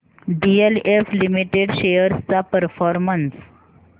DLF limited shares चा performance